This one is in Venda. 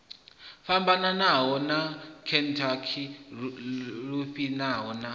fhambanaho sa khentsa lufhia na